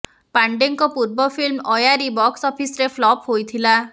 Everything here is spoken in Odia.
ପାଣ୍ଡେଙ୍କ ପୂର୍ବ ଫିଲ୍ମ ଆୟାରୀ ବକ୍ସ ଅଫିସ୍ରେ ଫ୍ଲପ୍ ହୋଇଥିଲା